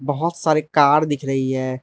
बहोत सारी कार दिख रही है।